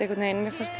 mér fannst